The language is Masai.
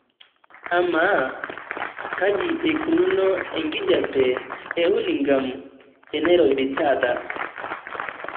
amaa kaji eikununo enkijiape ehurlingham enairobi taata